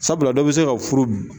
Sabula dɔ bɛ se ka furu